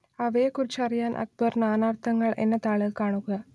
അവയെക്കുറിച്ചറിയാൻ അക്ബർ നാനാർത്ഥങ്ങൾ എന്ന താൾ കാണുക